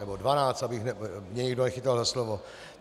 Nebo 12, aby mě nikdo nechytal za slovo.